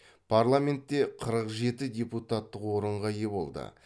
парламентте қырық жеті депутаттық орынға ие болды